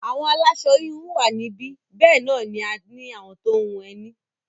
Àwọn aláṣọ-híhun wà níbí, bẹ́ẹ̀ náà ni a ní àwọn tó ń hun ẹní.